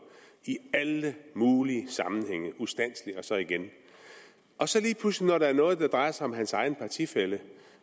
i alle mulige sammenhænge ustandselig og så igen og så lige pludselig når der er noget der drejer sig om hans egen partifælle